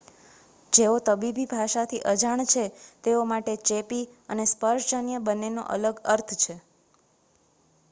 જેઓ તબીબી ભાષાથી અજાણ છે તેઓ માટે ચેપી અને સ્પર્શજન્ય બંનેનો અલગ અર્થ છે